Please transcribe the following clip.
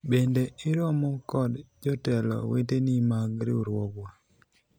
bende iromo kod jotelo weteni mag riwruogwa ?